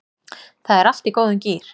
Það er allt í góðum gír